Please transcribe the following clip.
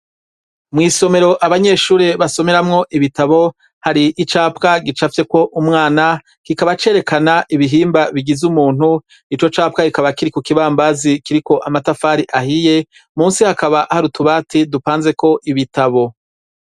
Mw'isomero abanyeshuri basomeramwo ibitabo, har'icapwa gicafyeko umwana. Kikaba cerekana ibihimba bigize umuntu. Ico capwa kikaba kiri ku kibambazi kiriko amatafari ahiye. Munsi , hakaba hari utubati dupanzeko ibitabo.